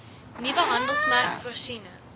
nuwe handelsmerk voorsiening